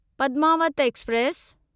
Padmaavat express